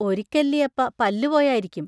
ഒരിക്കല്ലിയപ്പ പല്ലു പോയാരിക്കും.